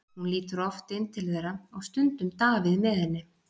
Hún lítur oft inn til þeirra og stundum Davíð með henni.